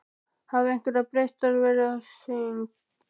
Hafa einhverjar breytingar verið á þeirri á?